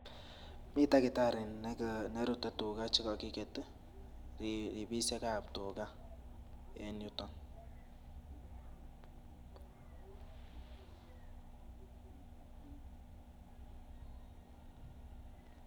Mii takitarii nerute tugaa chekokiget ribisiekab tugaa en yutoon.